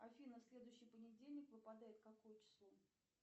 афина следующий понедельник выпадает какое число